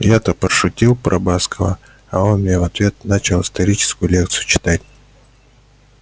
я-то пошутил про баскова а он мне в ответ начал историческую лекцию читать